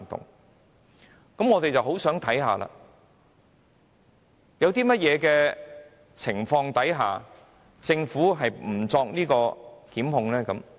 那麼，我們便很想看看，究竟在甚麼情況下，政府是不會作出檢控的？